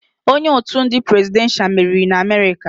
Onye otu ndị presidenshal meriri n'Amerịka.